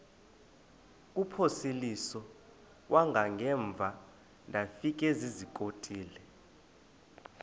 kuphosiliso kwangaemva ndafikezizikotile